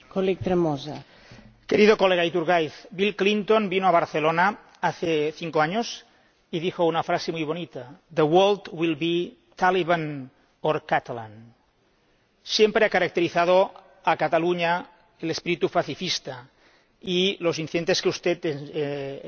Querido colega Iturgaiz, Bill Clinton vino a Barcelona hace cinco años y dijo una frase muy bonita The world will be Taliban or Catalan. Siempre ha caracterizado a Cataluña el espíritu pacifista, y los incidentes que usted ha nombrado